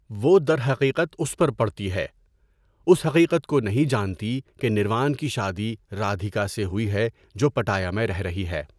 وہ درحقیقت اس پر پڑتی ہے، اس حقیقت کو نہیں جانتی کہ نروان کی شادی رادھیکا سے ہوئی ہے جو پٹایا میں رہ رہی ہے۔